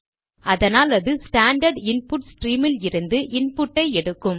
அதனாலது standard input stream இலிருந்து இன்புட்டை எடுக்கும்